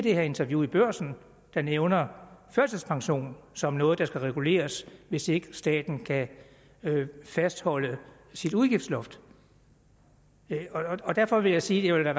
er i interviewet i børsen der nævner førtidspension som noget der skal reguleres hvis ikke staten kan fastholde sit udgiftsloft derfor vil jeg sige at